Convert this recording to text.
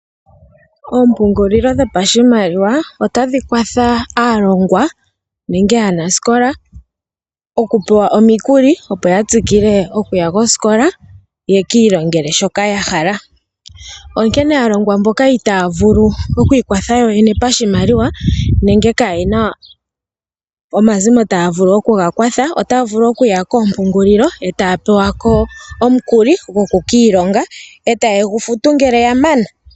Oompungulilo dhopashimaliwa otadhi kwatha aalongwa nenge Aanasikola okupewa omikuli opo ya tsikile okuya kosikola yeki ilongele shoka ya hala. Onkene aalongwa mboka itaya vulu oku ikwatha yoyene pashimaliwa nenge kayena omazimo taga vulu okuya kwatha otaya vulu okuya etaya pewako omukalo goku kiilonga etaye gu futu ngele ya mana.